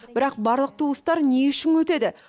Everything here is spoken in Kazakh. бірақ барлық туыстар не үшін өтеді